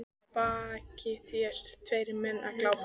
Að baki þér tveir menn sem glápa.